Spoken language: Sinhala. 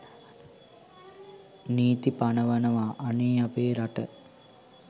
නීතී පනවනවා.අනේ අපේ රට.